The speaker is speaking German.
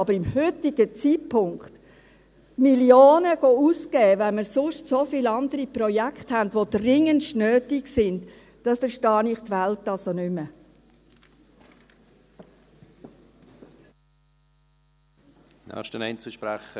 Aber zum heutigen Zeitpunkt Millionen auszugeben, wenn wir sonst so viele andere Projekte haben, die dringendst nötig sind, da verstehe ich die Welt nicht mehr.